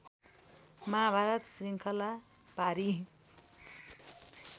माहाभारत श्रृङ्खला पारी